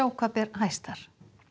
hvað ber hæst þar